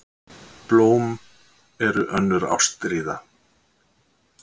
Blóm voru önnur ástríða.